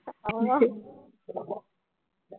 ஆமா